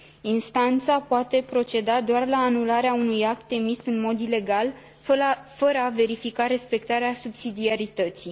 Instanța poate proceda doar la anularea unui act emis în mod ilegal, fără a verifica respectarea subsidiarității.